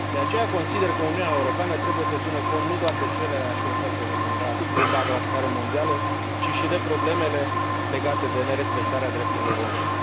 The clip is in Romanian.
De aceea, consider că Uniunea Europeană trebuie să țină cont nu doar de cererea și oferta de bumbac la scară mondială, ci și de problemele legate de nerespectarea drepturilor omului.